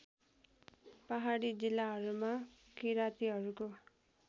पहाडी जिल्लाहरूमा किरातीहरूको